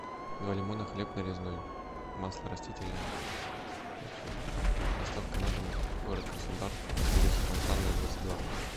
два лимона хлеб нарезной масло растительное и все доставка на дом город краснодар улица фонтанная двадцать два